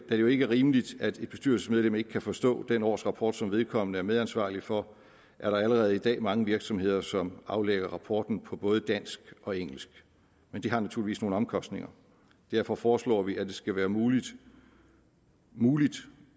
det jo ikke er rimeligt at et bestyrelsesmedlem ikke kan forstå den årsrapport som vedkommende er medansvarlig for er der allerede i dag mange virksomheder som aflægger rapporten på både dansk og engelsk men det har naturligvis nogle omkostninger derfor foreslår vi at det skal være muligt muligt